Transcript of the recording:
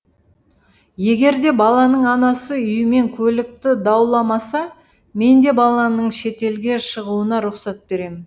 егер де баланың анасы үй мен көлікті дауламаса мен де баланың шетелге шығуына рұқсат беремін